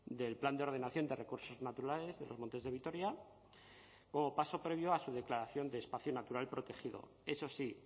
del plan de ordenación de recursos naturales de los montes de vitoria como paso previo a su declaración de espacio natural protegido eso sí